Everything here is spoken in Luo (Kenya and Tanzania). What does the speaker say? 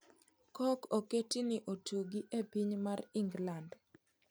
Cork oketi ni otugi ne piny mar England